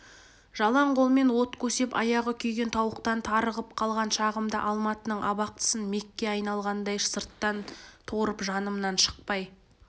жалаң қолмен от көсеп аяғы күйген тауықтан тарығып қалған шағымда алматының абақтысын мекке айналғандай сырттан торып жанымнан шықпай